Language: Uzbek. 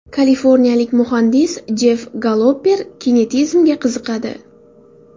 Kaliforniyalik muhandis Jeff Gollober kinetizmga qiziqadi.